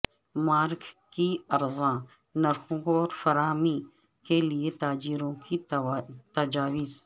mask کی ارزاں نرخوں پر فراہمی کے لیے تاجروں کی تجاویز